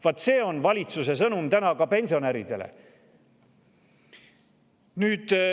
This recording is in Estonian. Vaat see on valitsuse sõnum ka pensionäridele.